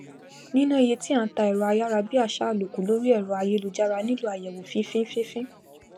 níná iye tí à n ta èrọ ayàrabíàsá àlòkù lórí èrọ ayélujára nílò àyèwò fínfín fínfín